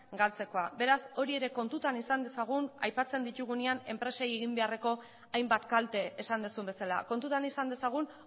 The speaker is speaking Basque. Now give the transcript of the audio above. galtzekoa beraz hori ere kontutan izan dezagun aipatzen ditugunean enpresei egin beharreko hainbat kalte esan duzun bezala kontutan izan dezagun